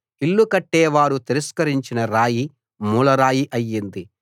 ఇల్లు కట్టేవారు తిరస్కరించిన రాయి మూలరాయి అయింది